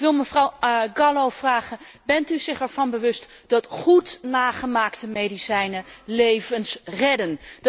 Ik wil mevrouw Gallo vragen bent u zich ervan bewust dat goed nagemaakte medicijnen levens redden?